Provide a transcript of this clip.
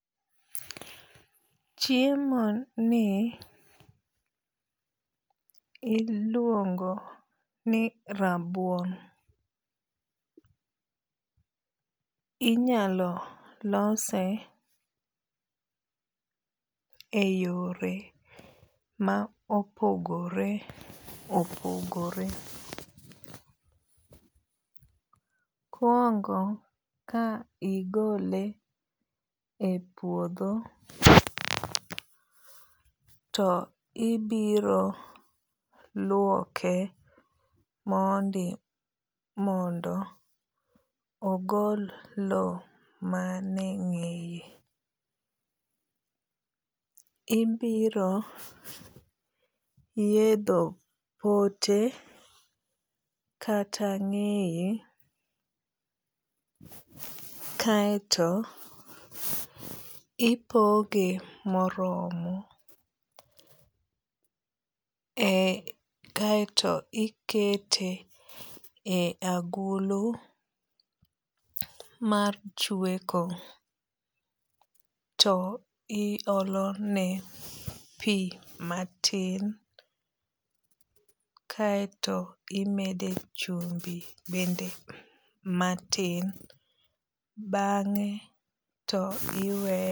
Chiemoni iluongo ni rabuon. Inyalo lose eyore ma opogore opogore. Kuongo ka igole epuodho to ibiro luoke mondi mondo ogol loo mane eng'eye. Ibiro yiedho pote kata ng'eye kaeto ipoge moromo e kaeto ikete e agulu mar chweko. To iolone pii matin kaeto imede chumbi bende matin bang'e to iweye